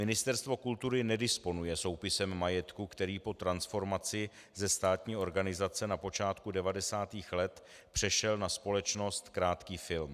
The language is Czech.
Ministerstvo kultury nedisponuje soupisem majetku, který po transformaci ze státní organizace na počátku 90. let přešel na společnost Krátký film.